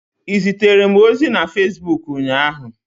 Ị zitere m ozi na Fesbuk ụnyaahụ?